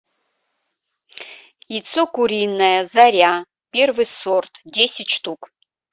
яйцо куриное заря первый сорт десять штук